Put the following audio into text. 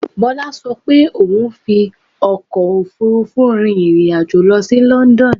Bọ́lá ṣo pé òun rí fi ọkò òfurufú rin ìrìn àjò lọ sí London